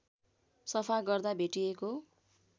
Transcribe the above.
सफा गर्दा भेटिएको